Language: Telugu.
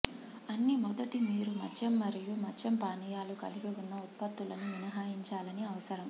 అన్ని మొదటి మీరు మద్యం మరియు మద్య పానీయాలు కలిగి ఉన్న ఉత్పత్తులను మినహాయించాలని అవసరం